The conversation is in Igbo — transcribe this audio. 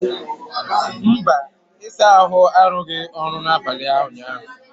mba, ịsa ahụ arụghị ọrụ n'abalị ụnyaahụ